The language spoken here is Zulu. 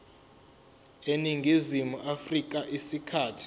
eningizimu afrika isikhathi